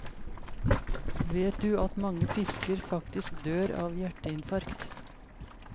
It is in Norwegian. Vet du at mange fisker faktisk dør av hjerteinfarkt?